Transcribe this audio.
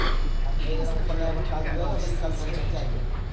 આતે બે દહાડા માં ઉપર લાયા પણ કાલ જોયા કલ ફરી નેચા આયી ગયા હતા.